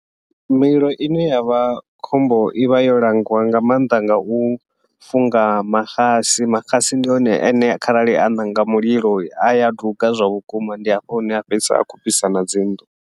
Mililo ine yavha khombo ivha yo langiwa nga maanḓa ngau funga maxasi maxasi ndi one ane kharali a ṋanga mulilo, aya duga zwa vhukuma ndi hafho hune a fhedzisela a khou fhisa nadzi nnḓu.